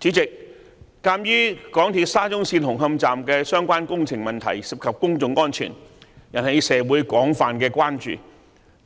主席，鑒於港鐵沙中線紅磡站的相關工程問題涉及公眾安全，引起社會廣泛關注，因